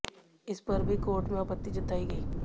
इस पर भी कोर्ट में आपत्ति जताई गई